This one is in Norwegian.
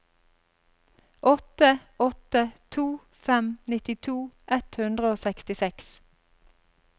åtte åtte to fem nittito ett hundre og sekstiseks